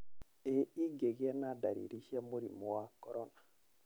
Ĩ ingĩgĩa na ndariri cia mũrimũ wa corona?